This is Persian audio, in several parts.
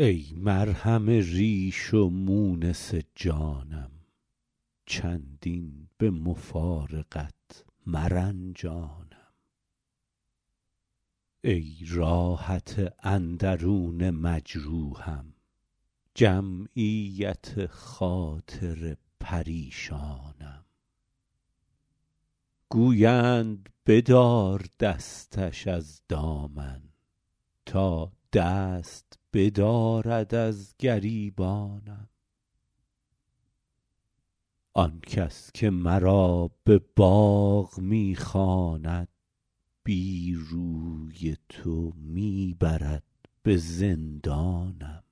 ای مرهم ریش و مونس جانم چندین به مفارقت مرنجانم ای راحت اندرون مجروحم جمعیت خاطر پریشانم گویند بدار دستش از دامن تا دست بدارد از گریبانم آن کس که مرا به باغ می خواند بی روی تو می برد به زندانم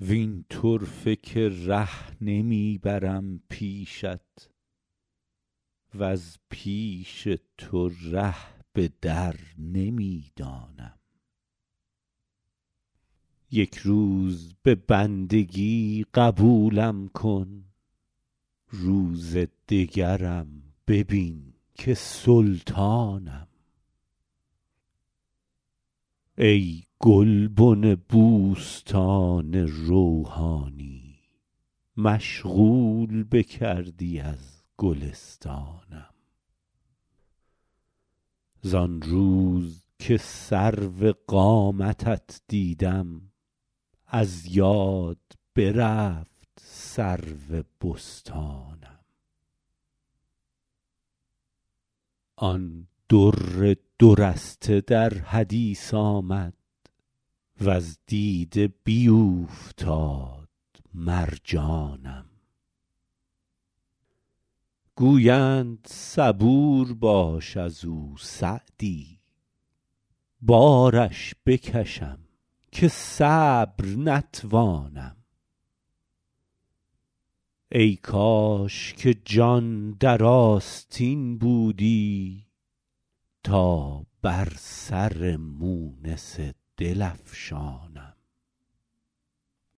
وین طرفه که ره نمی برم پیشت وز پیش تو ره به در نمی دانم یک روز به بندگی قبولم کن روز دگرم ببین که سلطانم ای گلبن بوستان روحانی مشغول بکردی از گلستانم زان روز که سرو قامتت دیدم از یاد برفت سرو بستانم آن در دو رسته در حدیث آمد وز دیده بیوفتاد مرجانم گویند صبور باش از او سعدی بارش بکشم که صبر نتوانم ای کاش که جان در آستین بودی تا بر سر مونس دل افشانم